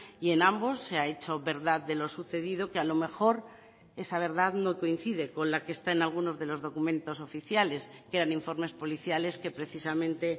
y en ambos se ha hecho verdad de lo sucedido que a lo mejor esa verdad no coincide con la que está en algunos de los documentos oficiales que eran informes policiales que precisamente